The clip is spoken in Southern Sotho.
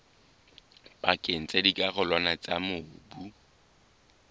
pakeng tsa dikarolwana tsa mobu